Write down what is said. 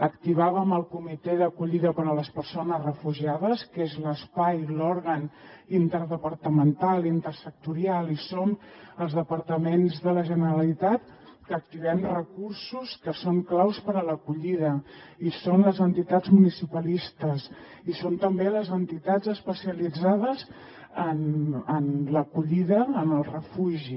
activàvem el comitè d’acollida per a les persones refugiades que és l’espai l’òrgan interdepartamental intersectorial i hi som els departaments de la generalitat que activem recursos que són claus per a l’acollida i hi són les entitats municipalistes i hi són també les entitats especialitzades en l’acollida en el refugi